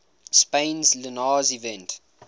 spain's linares event